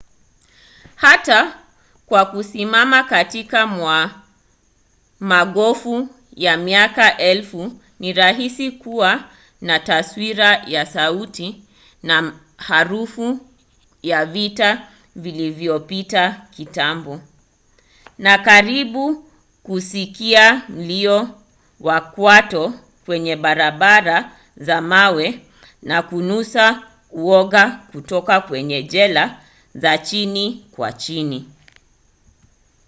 hata kwa kusimama katikati mwa magofu ya miaka elfu ni rahisi kuwa na taswira ya sauti na harufu ya vita vilivyopita kitambo na karibu kusikia mlio wa kwato kwenye barabara za mawe na kunusa uoga kutoka kwenye jela za chini kwa chini